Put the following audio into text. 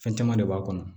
Fɛn caman de b'a kɔnɔ